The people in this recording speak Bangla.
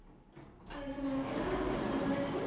য়াআলাইকুম আসসালাম। আসসালামু আলাইকুম।